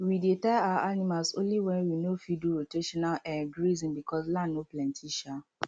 we dey tie our animals only when we no fit do rotational um grazing because land no plenty um